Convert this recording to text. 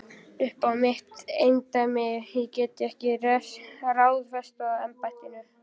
Uppá mitt eindæmi get ég ekki ráðstafað embættinu.